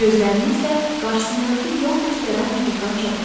Gözlərini isə qarşısındakı yol göstərən ulduzdan çəkmirdi.